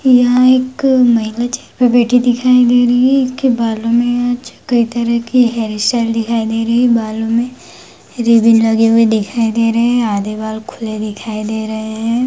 यह एक महिला चेयर बैठी दिखाई दे रही है इसके बालों में कई तरह के हैयर स्टाइल दिखाई दे रही है बालों में रिबन लगे हुए दिखाई दे रहे है आधे बाल खुले दिखाई दे रहे है।